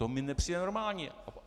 To mi nepřijde normální.